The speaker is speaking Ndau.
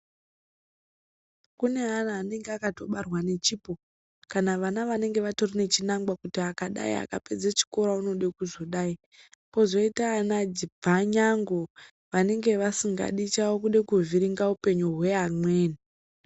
Kune ana anenge akatobarwa nechipo kana vana vanenge vatori nechinangwa kuti akadai akapedze chikora unode kuzodai , kozoita ana bvanyangu vanenge vasingadi chavo kude kuvhiringa upenyu hweamweni.